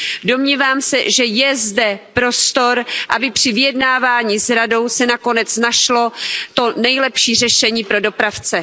Domnívám se, že je zde prostor, aby při vyjednávání s Radou se nakonec našlo to nejlepší řešení pro dopravce.